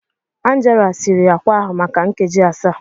Angela siri akwa ahụ maka nkeji asaa